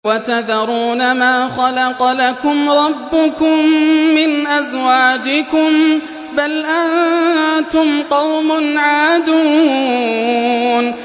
وَتَذَرُونَ مَا خَلَقَ لَكُمْ رَبُّكُم مِّنْ أَزْوَاجِكُم ۚ بَلْ أَنتُمْ قَوْمٌ عَادُونَ